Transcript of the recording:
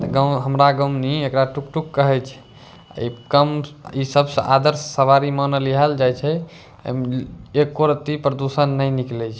गौं हमरा गौमनी एकरा टूक-टूक कहे छे अ इ कम इ सब आदर्श सवारी मानल इहल जाय छै एम्म एको रत्ती पर्दूषण नाय निकले छे।